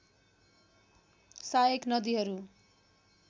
सहायक नदीहरू